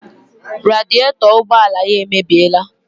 Radietọ ụgbọala ya emebiela